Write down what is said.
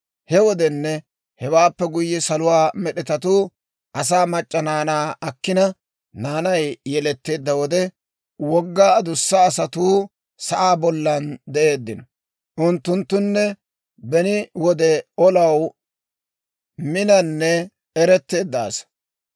He wodenne hewaappe guyye Saluwaa med'etatuu asaa mac'c'a naanaa akkina, naanay yeletteedda wode, wogga adussa asatuu sa'aa bollan de'eeddino. Unttunttune beni wode olaw minanne eretteedda asaa.